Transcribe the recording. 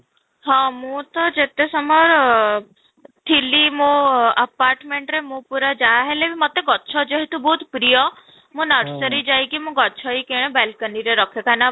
ହଁ, ମୁଁ ତ ଯେତେ ସମୟର ଥିଲି ମୁଁ apartment ରେ ମୁଁ ପୁରା ଯାହାହେଲେ ବି ମୋତେ ଗଛ ଯେହେତୁ ବହୁତ ପ୍ରିୟ ମୁଁ nursery ଯାଇକି ମୁଁ ଗଛ ହିଁ କିଣେ balcony ରେ ରଖେ କାହିଁକି ନା